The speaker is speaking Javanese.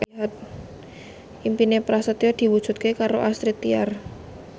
impine Prasetyo diwujudke karo Astrid Tiar